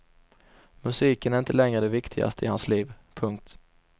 Musiken är inte längre det viktigaste i hans liv. punkt